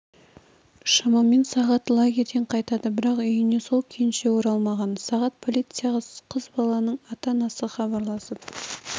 шамамен сағат лагерден қайтады бірақ үйіне сол күйінше оралмаған сағат полицияға қыз баланың ата-анасы хабарласып